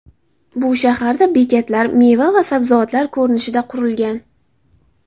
Bu shaharda bekatlar meva va sabzavotlar ko‘rinishida qurilgan.